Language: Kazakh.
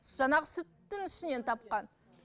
жаңағы сүттің ішінен тапқан